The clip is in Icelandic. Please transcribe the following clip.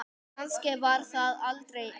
Kannski var það aldrei ást?